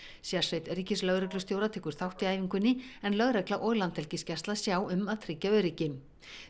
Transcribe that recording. sérsveit ríkislögreglustjóra tekur þátt í æfingunni en lögregla og Landhelgisgæsla sjá um að tryggja öryggi